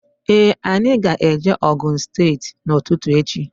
Ee anyị ga -eje Ogun steeti n'ututu echi.